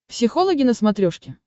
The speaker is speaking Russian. психологи на смотрешке